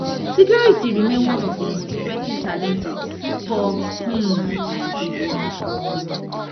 security remain one of di most pressing challenges for um nigeria